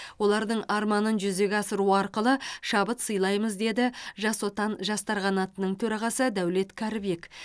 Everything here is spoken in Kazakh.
олардың арманын жүзеге асыру арқылы шабыт сыйлаймыз деді жас отан жастар қанатының төрағасы дәулет кәрібек